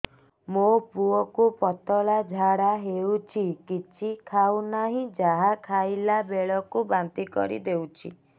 ମୋ ପୁଅ କୁ ପତଳା ଝାଡ଼ା ହେଉଛି କିଛି ଖାଉ ନାହିଁ ଯାହା ଖାଇଲାବେଳକୁ ବାନ୍ତି କରି ଦେଉଛି